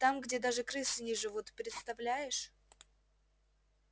там где даже крысы не живут представляешь